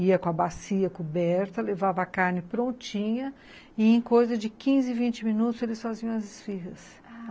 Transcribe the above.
Ia com a bacia coberta, levava a carne prontinha e em coisa de quinze, vinte minutos eles faziam as esfiras, ah...